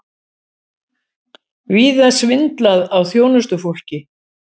Víða svindlað á þjónustufólki